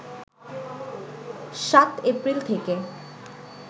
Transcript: সাত এপ্রিল থেকে